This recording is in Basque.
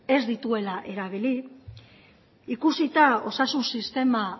ez dituela erabili ikusita osasun sistema